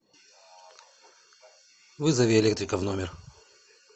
вызови электрика в номер